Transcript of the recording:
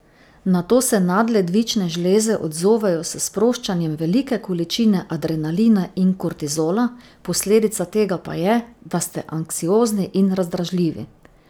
Na to se nadledvične žleze odzovejo s sproščanjem velike količine adrenalina in kortizola, posledica tega pa je, da ste anksiozni in razdražljivi.